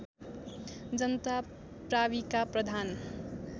जनता प्राविका प्रधान